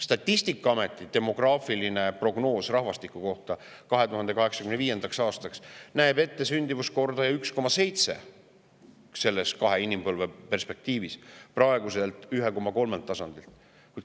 Statistikaameti demograafiline prognoos 2085. aastaks, kahe inimpõlve perspektiivis, näeb ette sündimuskordajat 1,7 võrreldes praeguse 1,3-ga.